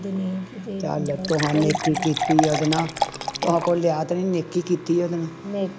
ਚਲ ਤੁਹਾਂ ਨੇਕੀ ਕੀਤੀ ਓਹਦੇ ਨਾਲ ਤੁਹਾਂ ਕੋਈ ਲਿਆ ਨਹੀਂ ਨੇਕੀ ਕੀਤੀ ਓਹਦੇ ਨਾਲ